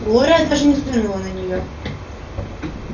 глория даже не взглянула на неё